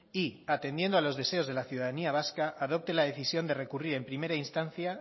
y atendiendo a los deseos de la ciudadanía vasca adopte la decisión de recurrir en primera instancia